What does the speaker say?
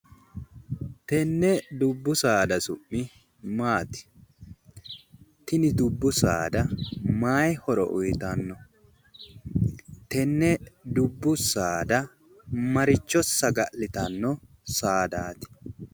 Tenne dubbu saaada su'mi maati? tini dubbu saada mayi horo uuyitanno? tenne dubbu saada maricho saga'litanno saadaati?